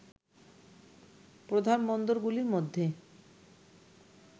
প্রধান বন্দরগুলির মধ্যে